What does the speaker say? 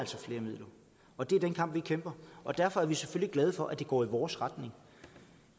flere midler og det er den kamp vi kæmper og derfor er vi selvfølgelig glade for at det går i vores retning